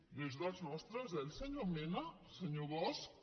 no és dels nostres eh el senyor mena senyor bosch